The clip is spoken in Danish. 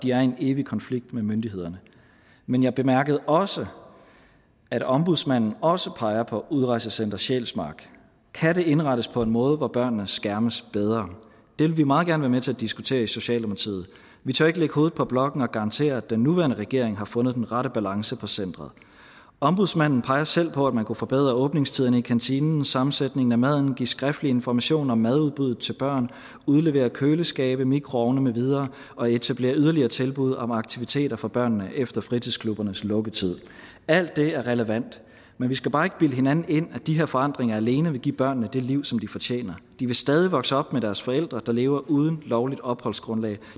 er i en evig konflikt med myndighederne men jeg bemærkede også at ombudsmanden også peger på udrejsecenter sjælsmark kan det indrettes på en måde hvor børnene skærmes bedre det vil vi meget gerne være med til at diskutere i socialdemokratiet vi tør ikke lægge hovedet på blokken og garantere at den nuværende regering har fundet den rette balance på centret ombudsmanden peger selv på at man kunne forbedre åbningstiden i kantinen sammensætningen af maden give skriftlig information om madudbuddet til børn udlevere køleskabe mikroovne med videre og etablere yderligere tilbud om aktiviteter for børnene efter fritidsklubbernes lukketid alt det er relevant men vi skal bare ikke bilde hinanden ind at de her forandringer alene vil give børnene det liv som de fortjener de vil stadig vokse op med deres forældre der lever uden lovligt opholdsgrundlag